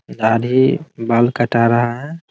दाढ़ी बाल कटा रहा है ।